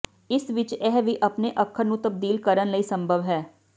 ਇਸ ਵਿਚ ਇਹ ਵੀ ਆਪਣੇ ਅੱਖਰ ਨੂੰ ਤਬਦੀਲ ਕਰਨ ਲਈ ਸੰਭਵ ਹੈ